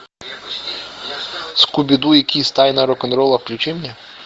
скуби ду и кисс тайна рок н ролла включи мне